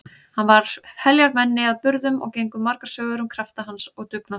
Hann var heljarmenni að burðum og gengu margar sögur um krafta hans og dugnað.